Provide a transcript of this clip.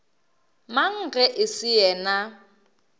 mang ge e se yena